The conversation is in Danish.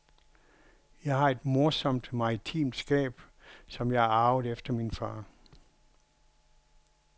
Jeg har et morsomt maritimt skab, som jeg har arvet efter min far.